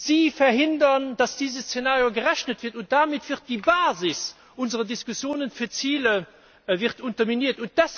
Sie verhindern, dass dieses Szenario gerechnet wird, und damit wird die Basis unserer Diskussionen für Ziele unterminiert.